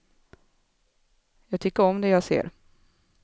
Jag tycker om det jag ser.